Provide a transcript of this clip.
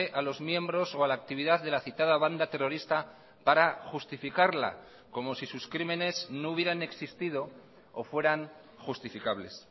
a los miembros o a la actividad de la citada banda terrorista para justificarla como si sus crímenes no hubieran existido o fueran justificables